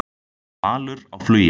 Valur á flugi